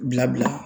Bila bila